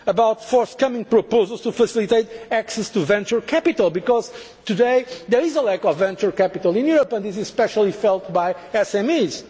Market Act. I am talking about forthcoming proposals to facilitate access to venture capital because, today, there is a lack of venture capital in Europe and this is especially felt